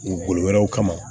U bolo wɛrɛw kama